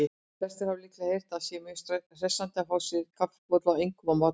Flestir hafa líklega heyrt að sé mjög hressandi að fá sér kaffibolla, einkum á morgnana.